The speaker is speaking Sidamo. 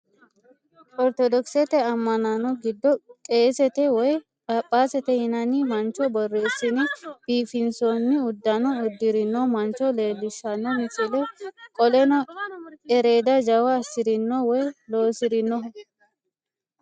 Ortodokisete amma'no giddo qeesete woy phaaphasete yinanni mancho borreessine biifinsoonni uddano uddirino mancho leellishanno misile. Qoleno ereeda jawa assirino woy lossirinoho.